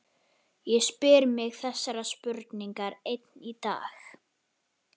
Ég spyr mig þessarar spurningar enn í dag.